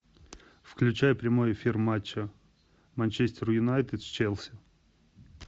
включай прямой эфир матча манчестер юнайтед с челси